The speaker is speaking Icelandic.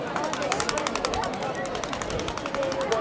. orðið sér úti um tengiliði.